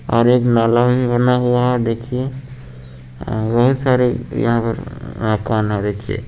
और एक नाला भी बना हुआ देखिए बहुत सारे यहां पर देखिए--